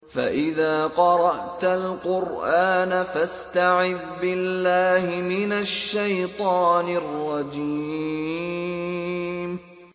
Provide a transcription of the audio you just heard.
فَإِذَا قَرَأْتَ الْقُرْآنَ فَاسْتَعِذْ بِاللَّهِ مِنَ الشَّيْطَانِ الرَّجِيمِ